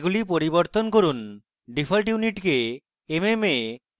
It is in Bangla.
এগুলি পরিবর্তন করুন ডিফল্ট units mm এ